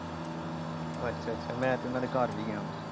ਅੱਛਾ ਅੱਛਾ ਮੈ ਤਾ ਉਹਨਾਂ ਦੇ ਘਰ ਵੀ ਗਿਆ ਆ ।